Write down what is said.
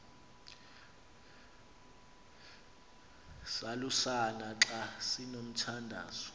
salusana xa sinomthandazo